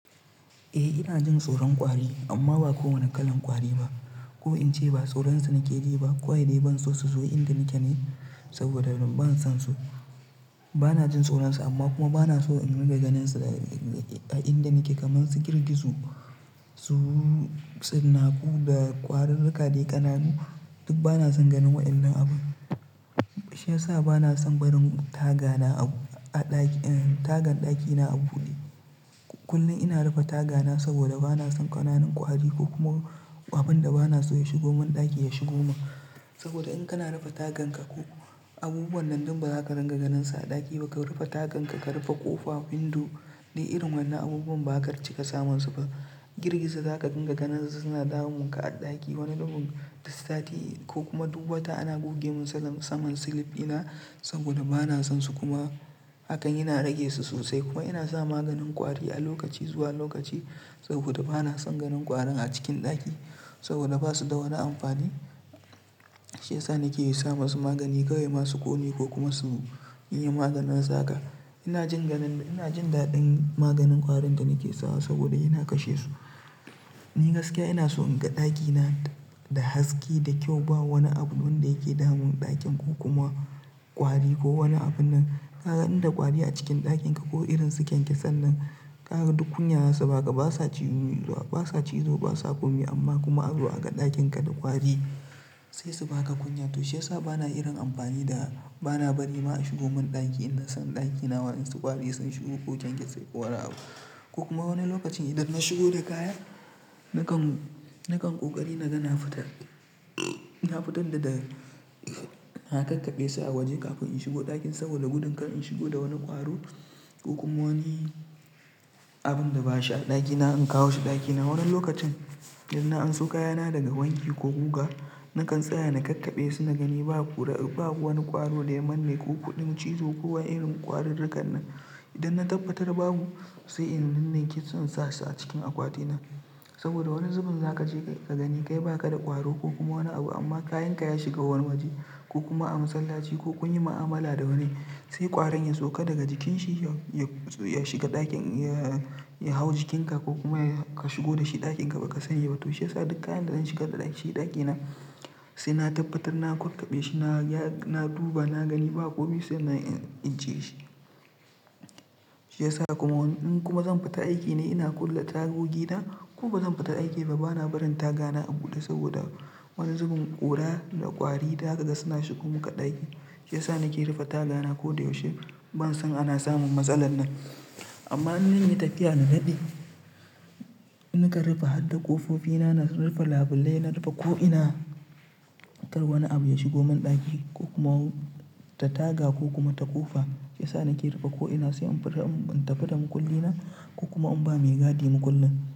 Eh ina jin tsoron ƙwari amma ba kowane kalan ƙwari ba. Ko in ce ba tsoron su nakeji ba. Da dai ban so su zo inda nake ne saboda ban son su. Bana jin tsoron su amma kuma bana so in riga ganin su a inda nake. Kaman su girgizo, su tsinnaku da ƙwarurruka dai ƙananu duk bana son ganin waɗannan abubuwa. Shi yasa bana son barin taga na a ɗaki, tagan ɗakina a buɗe. Kullum ina rufe taga na saboda bana son ƙananan ƙwari ko kuma abin da bana so ya shigo man ɗaki ya shigo man. Saboda in kana rufe tagan ka ko abubuwan nan duk ba za ka dunga ganin su a ɗaki ba. Ka rufe tagan ka, ka rufe ƙofa, window duk irin wannan abubuwan ba zaka cika samun su ba. Girgizo zaka dunga ganin su suna damun ka a ɗaki. Wani zubin duk sati ko kuma duk wata ana goge mun saman silif ina saboda bana son su kuma hakan yana rage su sosai. Kuma ina sa maganin ƙwari a lokaci zuwa lokaci saboda bana son ganin ƙwarin a cikin ɗaki saboda basu da wani amfani. Shi yasa nake yi sa masu magani kawai ma su ƙone ko kuma su yi maganinsu haka. Ina jin ganin, ina jin daɗin maganin ƙwarin da nake sawa saboda yana kashe su. Ni gaskiya ina so in ga ɗakina da haske, da kyau, ba wani abu wanda yake damun ɗakin ko kuma ƙwari ko wani abun nan. Ka ga inda ƙwari a cikin ɗakin ka ko irin su kyankyasan nan, ka ga duk kunya za su baka. Basa cizo, basa komi amma kuma azo a ga ɗakin ka da ƙwari sai su baka kunya. To shi yasa bana irin amfani da bana bari ma a shigo mun ɗaki idan zan ɗakina wa insu ƙwari sun shigo ko kyankyasi ko wani abu. Ko kuma wani lokacin idan na shigo da kaya nakan, nakan ƙoƙari na gana fitar. Na fitar da, da na kakkaɓe su a waje kafin in shigo ɗakin saboda gudun kar in shigo da wani ƙwaro ko kuma wani abun da bashi a ɗakina, in kawo shi ɗakina. Wani lokacin idan na anso kaya na daga wanki ko guga, nakan tsaya na kakkaɓe su na gani ba kura, ba wani ƙwaro da ya manne ko kuɗin cizo ko ma irin ƙwarurrukan nan. Idan na tabbatar babu sai in ninniken su in sa su a cikin akwati na. Saboda wani zubin za ka je ka gani kai ba ka da ƙwaro ko kuma wani abu amma kayan ka ya shiga wani waje ko kuma a masallaci ko kun yi ma'amala da wani sai ƙwarin ya sauka daga jikin shi ya shiga ɗakin, ya hau jikinka ko kuma ka shigo da shi ɗakin ka baka sani ba. To shiyasa duk kayan da zan shigar shi ɗakina sai na tabbatar na kakkaɓe shi. Na, na duba na gani bakomi sai na ijje shi. Shi yasa kuma in kuma zan fita aiki ne ina kulle tagogi na ko bazan fita aiki ba bana barin taga na a buɗe saboda wani zubin ƙura da ƙwari da haka suna shigo maka ɗaki. Shi yasa nake rufe taga na koda yaushe ban son ana samun matsalar nan. Amma in zanyi tafiya na daɗe nakan rufe har da ƙofofi na, na rufe labulai, na rufe ko ina kar wani abu ya shigo man ɗaki ko kuma ta taga ko kuma ta ƙofa. Shi yasa nake rufe ko ina sai in fita, in tafi da makulli na ko kuma in ba mai gadi makullin.